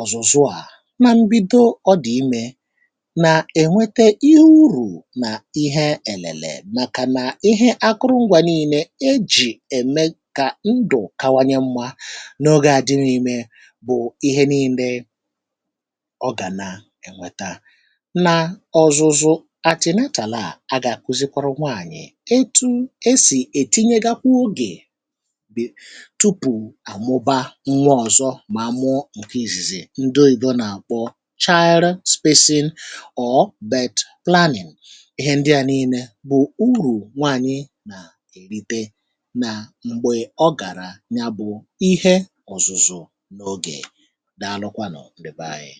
ọ̀zụ̀zụ na mbidọ ọdi ime na enwete ihe ụrù na ihe elele maka na ihe akụrụngwa nii̇ne ejì eme ka ndụ̀ kawanye mma n’ọge adịm ime bụ̀ ihe nii̇ne ọ ga na enweta na ọzụzụ atinental a, a ga akụzikwarụ nwaanyị̀ ọtụ̇ e sì etinye gakwụ ọge tụpụ amụba nwa ọzọ ma mụọ nke izìzi ndọ ọyibọ na akpọ Child spacing or birth planning. Ihe ndị a nille bụ̀ ụrù nwaanyị na erite na mgbe ọ gara nya bụ̀ ihe ọ̀zụ̀zụ̀ n’ọge. Daalụkwanụ̀ ndị̀ bee ayi